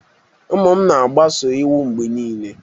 Ụmụ m na-agbaso iwu mgbe niile.